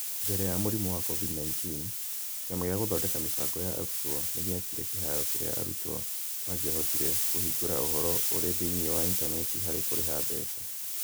Mbere ya mũrimũ wa COVID-19, Kĩama gĩa Gũthondeka Mĩbango ya Arutwo nĩ gĩaakire kĩhaaro kĩrĩa arutwo mangĩahotire kũhingũra ũhoro ũrĩ thĩinĩ wa intaneti harĩ kũrĩha mbeca